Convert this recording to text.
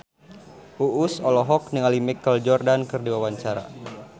Uus olohok ningali Michael Jordan keur diwawancara